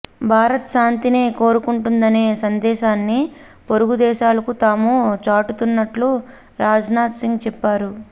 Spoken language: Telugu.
భారత్ శాంతినే కొరుకొంటుందనే సందేశాన్ని పొరుగుదేశాలకు తాము చాటుతున్నట్టు రాజ్నాథ్సింగ్ చెప్పారు